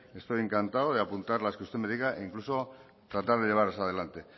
estoy encantado de apuntar las que usted me diga incluso tratar de llevarlas adelante